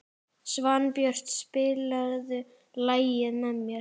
Svanbjört, spilaðu lagið „Með þér“.